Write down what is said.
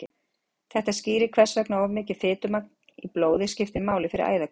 þetta skýrir hvers vegna of mikið fitumagn í blóði skiptir máli fyrir æðakölkun